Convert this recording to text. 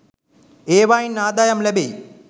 ඒවායින් ආදායම් ලැබෙයි.